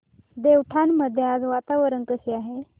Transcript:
देवठाण मध्ये आज वातावरण कसे आहे